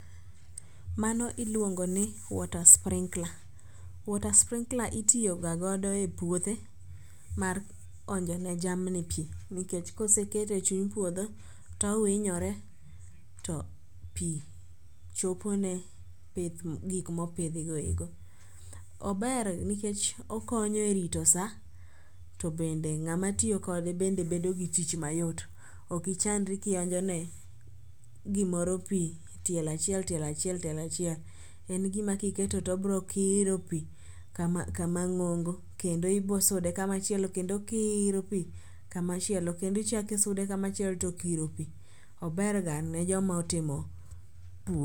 Mano iluongo ni water sprinkler. Water sprinkler itiyo ga godo e puothe mar onjo ne jamni pi nikech kosekete e chuny puodho towinyore to pi chopo ne gik mopidhi go eko. Ober nikech okonyo e rito sa to bende ng'ama tiyo kode bende bedo gi tich mayot, okichandri kionjone gimoro pi tielo achiel tielo achiel tielo achiel. En gima kiketo tobrokiro pi kama ng'ongo kendo ibosude kama chielo kendo okiro pi kamachielo kendo ichako isude kamachielo tokiro pi. Oberga ne joma otimo pur.